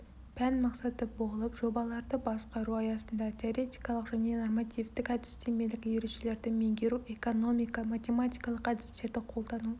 пән мақсаты болып жобаларды басқару аясында теоретикалық және нормативтік әдістемелік ережелерді меңгеру экономика математикалық әдістерді қолдану